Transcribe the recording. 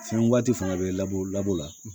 Fɛn waati fana bɛ labɔ lab